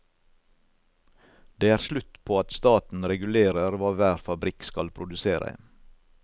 Det er slutt på at staten regulerer hva hver fabrikk skal produsere.